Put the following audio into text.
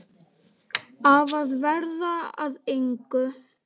Af að verða að engu.